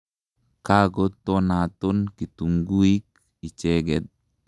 Kako tonaton kitunguik icheket.